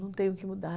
Não tenho o que mudar.